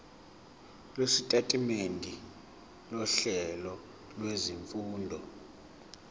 lwesitatimende sohlelo lwezifundo